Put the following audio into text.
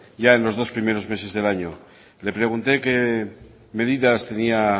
ya en los dos primeros meses del año le pregunté qué medidas tenía